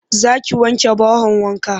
Za ki wanke bahon wankan?